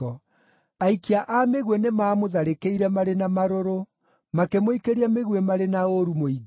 Aikia a mĩguĩ nĩmamũtharĩkĩire marĩ na marũrũ; makĩmũikĩria mĩguĩ marĩ na ũũru mũingĩ.